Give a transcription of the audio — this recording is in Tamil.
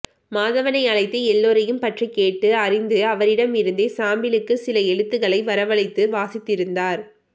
மாதவனை அழைத்து எல்லாரையும் பற்றிக்கேட்டு அறிந்து அவரிடமிருந்தே சாம்பிளுக்கு சில எழுத்துக்களை வரவழைத்து வாசித்திருந்தார்